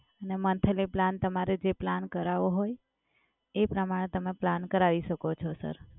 અને monthly plan તમારે જે plan કરાવવો હોય એ તમારે તમે પ્લાન કરાવી શકો છો સર.